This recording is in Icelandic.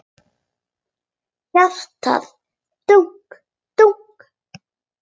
Hjartað dunk dunk.